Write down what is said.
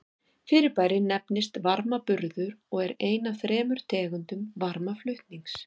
Fyrirbærið nefnist varmaburður og er ein af þremur tegundum varmaflutnings.